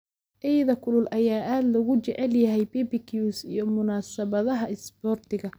Eyda kulul ayaa aad loogu jecel yahay barbecues iyo munaasabadaha isboortiga.